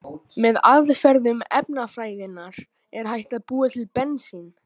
Með aðferðum efnafræðinnar er hægt að búa til bensín.